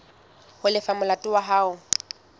ho lefa molato wa hao